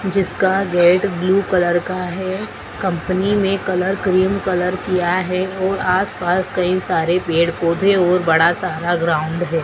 जिसका gate blue colour का है कंपनी में कलर क्रीम कलर किया है और आसपास कई सारे पेड़ पौधे और बड़ा सारा ग्राउंड है।